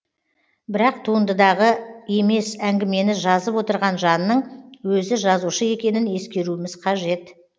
бірақ туындыдағы емес әңгімені жазып отырған жанның өзі жазушы екенін ескеруіміз қажет